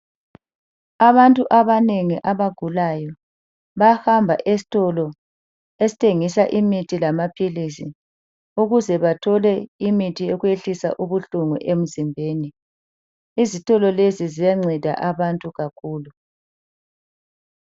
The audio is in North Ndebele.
Abantu abanengi abagulayo bayahamba esitolo esithengisa imithi lamaphilisi ukuze bathole imithi yokwehlisa ubuhlungu emzimbeni. Izitolo lezi ziyanceda abantu kakhulu.